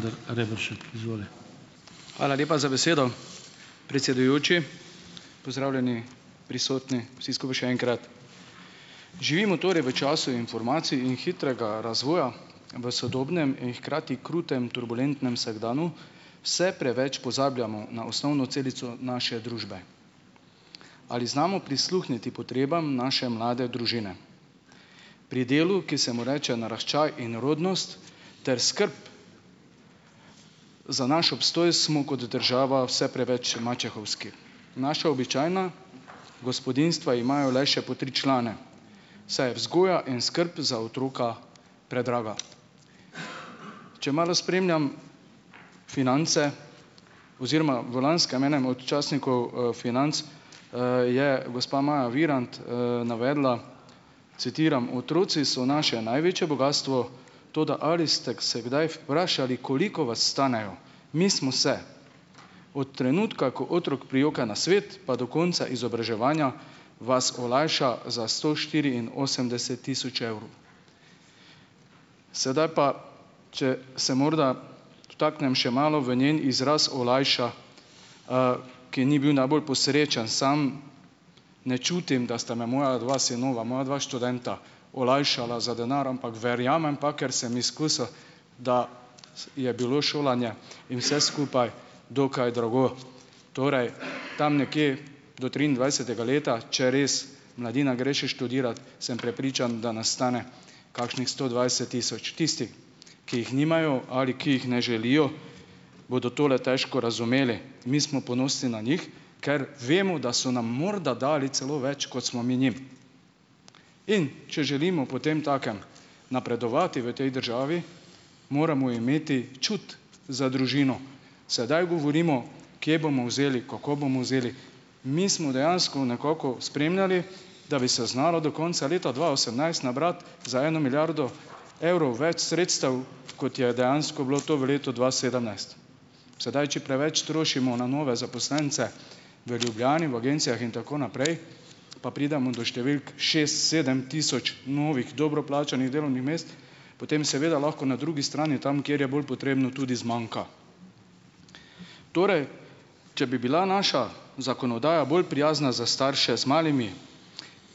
Hvala lepa za besedo, predsedujoči. Pozdravljeni, prisotni, vsi skupaj še enkrat. Živimo torej v času informacij in hitrega razvoja v sodobnem in hkrati krutem turbulentnem vsakdanu. Vse preveč pozabljamo na osnovno celico naše družbe. Ali znamo prisluhniti potrebam naše mlade družine? Pri delu, ki se mu reče naraščaj in rodnost ter skrb za naš obstoj, smo kot država vse preveč mačehovski. Naša običajna gospodinjstva imajo le še po tri člane, saj je vzgoja in skrb za otroka predraga. Če malo spremljam Finance - oziroma v lanskem, enem od časnikov, Financ, je gospa Maja Virant, navedla, citiram: "Otroci so naše največje bogastvo. Toda ali stek se kdaj vprašali, koliko vas stanejo? Mi smo se. Od trenutka, ko otrok prijoka na svet, pa do konca izobraževanja vas olajša za sto štiriinosemdeset tisoč evrov." Sedaj pa - če se morda vtaknem še malo v njen izraz "olajša", ki ni bil najbolj posrečen. Sam ne čutim, da sta me moja dva sinova, moja dva študenta olajšala za denar, ampak verjamem pa - ker sem izkusil - da je bilo šolanje in vse skupaj dokaj drago. Torej, tam nekje do triindvajsetega leta - če res mladina gre še študirat - sem prepričan, da nas stane kakšnih sto dvajset tisoč. Tisti, ki jih nimajo ali ki jih ne želijo, bodo tole težko razumeli. Mi smo ponosni na njih, ker vemo, da so nam morda dali celo več, kot smo mi njim. In če želimo potemtakem napredovati v tej državi, moramo imeti čut za družino. Sedaj govorimo, kje bomo vzeli, kako bomo vzeli - mi smo dejansko nekako spremljali, da bi se znalo do konca leta dva osemnajst nabrati za eno milijardo evrov več sredstev, kot je dejansko bilo to v letu dva sedemnajst. Sedaj, če preveč trošimo na nove zaposlence v Ljubljani, v agencijah in tako naprej, pa pridemo do številk šest, sedem tisoč novih dobro plačanih delovnih mest, potem seveda lahko na drugi strani, tam, kjer je bolj potrebno, tudi zmanjka. Torej, če bi bila naša zakonodaja bolj prijazna za starše z malimi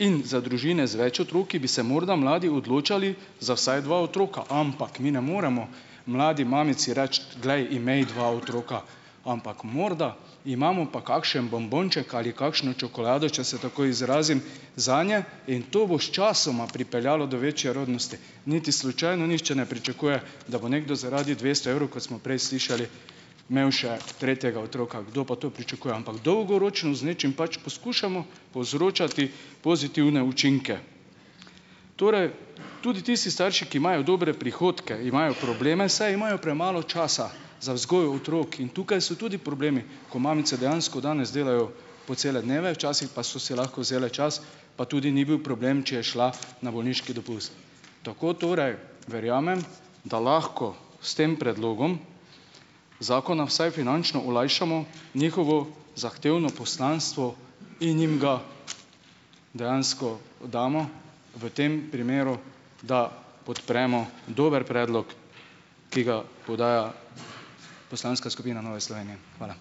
in za družine z več otroki, bi se morda mladi odločali za vsaj dva otroka. Ampak mi ne moremo mladi mamici reči: "Glej, imej dva otroka." Ampak morda imamo pa kakšen bombonček ali kakšno čokolado, če se tako izrazim, zanje in to bo sčasoma pripeljalo do večje rodnosti. Niti slučajno nihče ne pričakuje, da bo nekdo zaradi dvesto evrov, kot smo prej slišali, imel še tretjega otroka. Kdo pa to pričakuje? Ampak dolgoročno z nečim pač poskušamo povzročati pozitivne učinke. Torej - tudi tisti starši, ki imajo dobre prihodke, imajo probleme, saj imajo premalo časa za vzgojo otrok. In tukaj so tudi problemi, ko mamice dejansko danes delajo po cele dneve, včasih pa so si lahko vzele čas, pa tudi ni bil problem, če je šla na bolniški dopust. Tako torej verjamem, da lahko s tem predlogom zakona vsaj finančno olajšamo njihovo zahtevno poslanstvo in jim ga dejansko damo v tem primeru, da podpremo dober predlog, ki ga podaja poslanska skupina Nove Slovenije. Hvala.